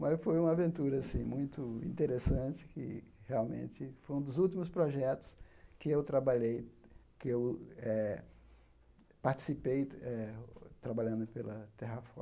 Mas foi uma aventura, assim, muito interessante, que realmente foi um dos últimos projetos que eu trabalhei, que eu eh participei eh, trabalhando pela Terrafoto.